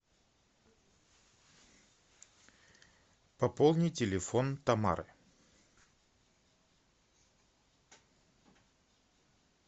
пополни телефон тамары